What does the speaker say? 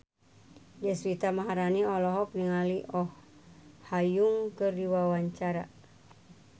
Deswita Maharani olohok ningali Oh Ha Young keur diwawancara